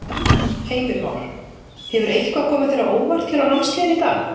Heimir Már: Hefur eitthvað komið þér á óvart hér á námskeiðinu í dag?